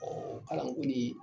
kalan ko niin